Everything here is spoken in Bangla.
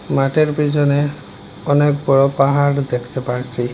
মাঠের পিছনে অনেক বড়ো পাহাড় দেখতে পারছি।